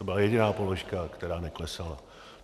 To byla jediná položka, která neklesala.